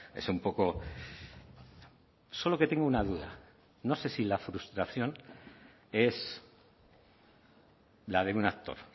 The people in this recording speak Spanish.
es un poco solo que tengo una duda no sé si la frustración es la de un actor